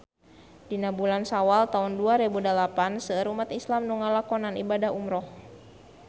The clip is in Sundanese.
Dina bulan Sawal taun dua rebu dalapan seueur umat islam nu ngalakonan ibadah umrah